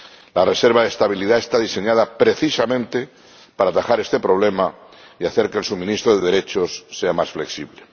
La reserva de estabilidad está diseñada, precisamente, para atajar este problema y hacer que el suministro de derechos sea más flexible.